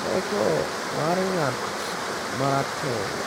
teko mar ng’at ma rateng’.”